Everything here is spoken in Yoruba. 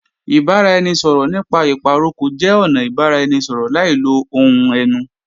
Ìbáraẹnisọ̀rọ̀ nípa ìpàrokò jẹ́ ọnà ìbáraẹnisọ̀rọ̀ láì lo ohùn ẹnu